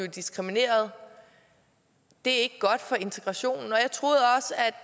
diskrimineret det er ikke godt for integrationen